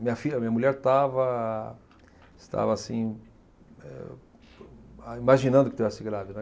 Minha filha, minha mulher estava, estava assim, eh imaginando que estivesse grávida, né.